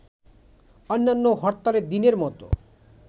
অন্যান্য হরতালের দিনের মত